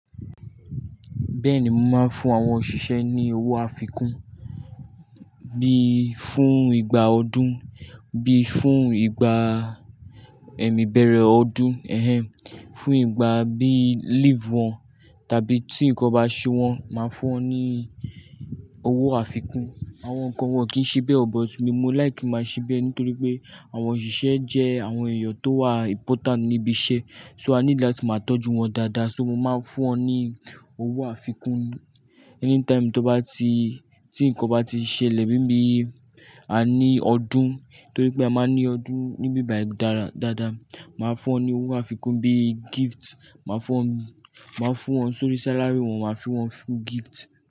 Bẹ́ẹ̀ni, mo máa ń fún àwọn òṣìṣẹ́ ní owó àfikún bí fún ìgbà ọdún, bí fún ìgbà ẹ̀mí bẹ̀rẹ̀ ọdún, ẹhẹm, fún ìgbà bí leave wọn tàbí tí nǹkan bá ṣe wọ́n, màá fún wọn ní owó àfikún. Àwọn nǹkan wọ́n kìí ṣe bẹ́ẹ̀ ọ̀, but mi, mo like máa ṣe bẹ́ẹ̀ nítorí pé àwọn òṣìṣẹ́ jẹ́ àwọn èèyàn tó wà important níbi iṣẹ́. So I need that máa tọ́jú wọn dáadáa, so mo máa ń fún wọn ní owó àfikún. Anytime tó bá ti, tí nǹkan bá ti ṣẹlẹ̀ bí i bí a ní ọdún, nítorí pé a máa ń ní ọdún níbi ìbàdá dáadáa, màá fún wọn ní owó àfikún bí gift. Màá fún wọn, màá fún wọn sórí salary wọn, màá fun wọ́n fún gift.